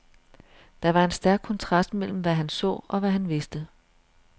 Der var en stærk kontrast mellem hvad han så, og hvad han vidste.